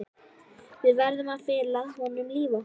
Við verðum að fela honum líf okkar.